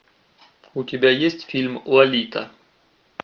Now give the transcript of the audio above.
у тебя есть фильм лолита